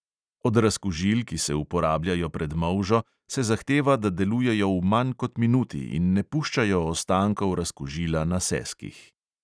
Od razkužil, ki se uporabljajo pred molžo, se zahteva, da delujejo v manj kot minuti in ne puščajo ostankov razkužila na seskih.